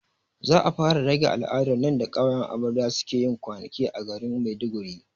Za a fara rage al'adar nan da ƙawayen amarya suke yin kwanaki a garin maiduguri